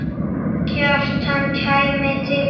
Kjartan kæmi til dyra.